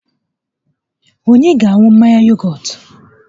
Onye ga-aṅụ mmanya yogọt?